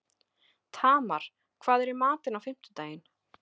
Tamar, hvað er í matinn á fimmtudaginn?